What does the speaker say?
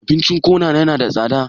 Abincin kona yana da tsada?